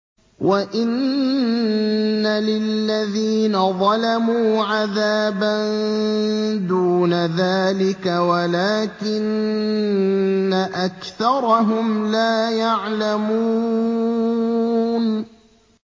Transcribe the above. وَإِنَّ لِلَّذِينَ ظَلَمُوا عَذَابًا دُونَ ذَٰلِكَ وَلَٰكِنَّ أَكْثَرَهُمْ لَا يَعْلَمُونَ